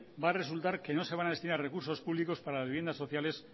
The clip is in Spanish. va a resultar que no se van a destinar recursos públicos para las viviendas sociales